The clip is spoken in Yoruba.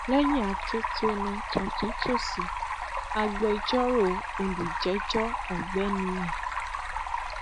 lẹyìn atótónu tọtúntòsì agbẹjọrò olójejọ ọgbẹni